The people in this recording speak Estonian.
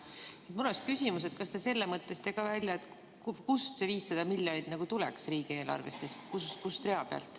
Mul on küsimus, et kas te selle mõtlesite ka välja, kust see 500 miljonit tuleks riigieelarvest, kust rea pealt.